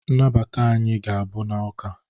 nnabata anyị ga-abụ n'ụka